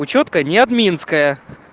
учётка не админская